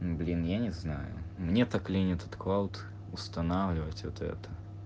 блин я не знаю мне так лень этот клауд устанавливать это это